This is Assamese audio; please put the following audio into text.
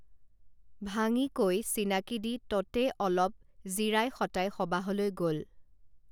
ভাঙি কৈ চিনাকী দি ততে অলপ জিৰাই শঁতাই সবাহলৈ গল